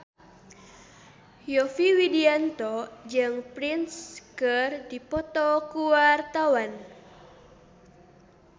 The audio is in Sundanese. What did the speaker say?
Yovie Widianto jeung Prince keur dipoto ku wartawan